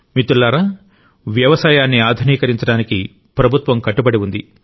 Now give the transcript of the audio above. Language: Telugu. మిత్రులారా వ్యవసాయాన్ని ఆధునీకరించడానికి ప్రభుత్వం కట్టుబడి ఉంది